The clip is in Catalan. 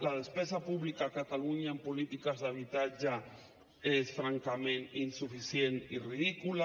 la despesa pública a catalunya en polítiques d’habitatge és francament insuficient i ridícula